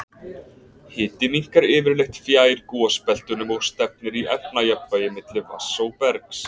Hiti minnkar yfirleitt fjær gosbeltunum og stefnir í efnajafnvægi milli vatns og bergs.